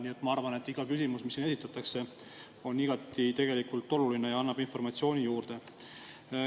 Nii et ma arvan, et iga küsimus, mis siin esitatakse, on igati oluline ja annab informatsiooni juurde.